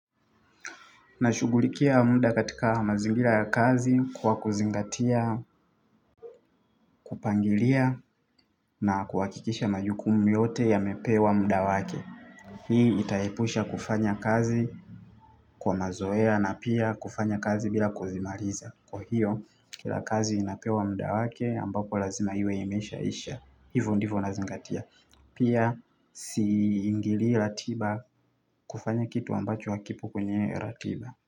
Nashughulikia muda katika mazingira ya kazi kwa kuzingatia, kupangilia na kuhakikisha majukumu yote yamepewa muda wake. Hii itaepusha kufanya kazi kwa mazoea na pia kufanya kazi bila kuzimaliza. Kwa hiyo kila kazi inapewa muda wake ambapo lazima iwe imeshaisha. Hivo ndivo nazingatia. Pia siingilii ratiba kufanya kitu ambacho hakipo kwenye ratiba.